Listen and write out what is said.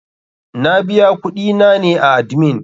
Na biya kuɗi na ne a admin.